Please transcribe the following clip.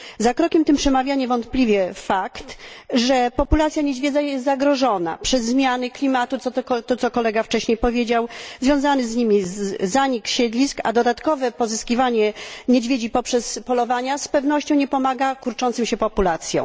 Za krokiem tym przemawia niewątpliwie fakt, że populacja niedźwiedzia jest zagrożona przez zmiany klimatu co powiedział wcześniej kolega związany z nimi zanik siedlisk, a dodatkowe pozyskiwanie niedźwiedzi poprzez polowania z pewnością nie pomaga kurczącym się populacjom.